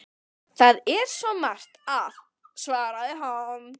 Það er svo margt að- svaraði hann.